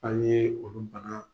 Hali ni ye olu ban